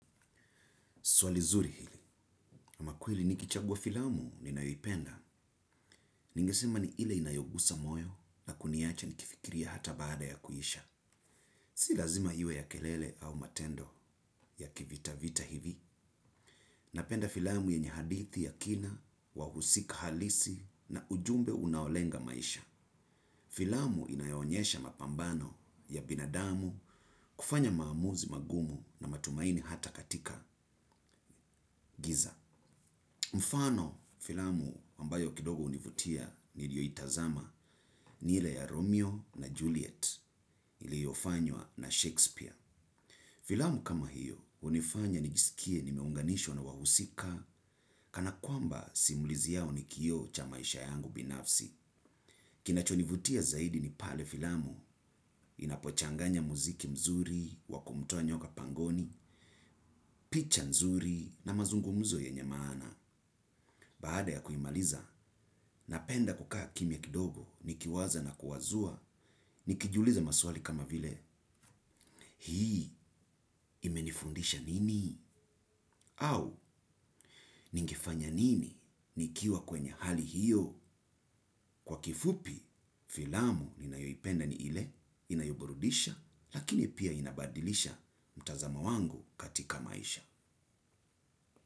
Swali zuri hili, ama kweli nikichagua filamu ninayoipenda, ningisema ni ile inayogusa moyo na kuniache nikifikiria hata baada ya kuisha. Si lazima iwe ya kelele au matendo ya kivita vita hivi. Napenda filamu yenye hadithi ya kina, wahusika halisi na ujumbe unaolenga maisha. Filamu inayoonyesha mapambano ya binadamu kufanya maamuzi magumu na matumaini hata katika giza. Mfano filamu ambayo kidogo univutia nilio itazama ni ile ya Romeo na Juliet iliofanywa na Shakespeare. Filamu kama hiyo unifanya nijisikie nimeunganishwa na wahusika kana kwamba simulizi yao ni kioo cha maisha yangu binafsi. Kinachonivutia zaidi ni pale filamu inapochanganya muziki mzuri, wa kumtoa nyoka pangoni, picha mzuri na mazungumuzo yenye maana. Baada ya kuimaliza, napenda kukaa kimya kidogo, nikiwaza na kuwazua, nikijiuliza maswali kama vile, hii, imenifundisha nini, au, ningefanya nini, nikiwa kwenye hali hiyo, kwa kifupi, filamu ninayoipenda ni ile, inayoburudisha, lakini pia inabadilisha mtazamo wangu katika maisha.